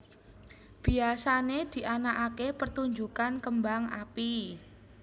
Biyasané dianakaké pertunjukan kembang api